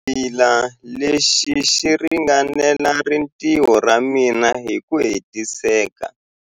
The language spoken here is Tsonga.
Xingwavila lexi xi ringanela rintiho ra mina hi ku hetiseka.